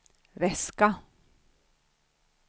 väska